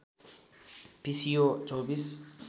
पिसिओ २४